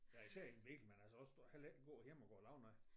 Ja især i en bil men altså også heller ikke gå hjemme og går og laver noget